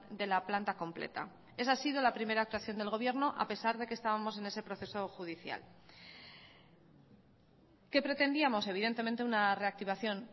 de la planta completa esa ha sido la primera actuación del gobierno a pesar de que estábamos en ese proceso judicial qué pretendíamos evidentemente una reactivación